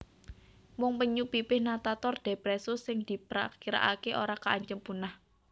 Mung penyu pipih Natator depressus sing diprakiraké ora kaancem punah